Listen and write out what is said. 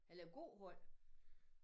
Eller gåhold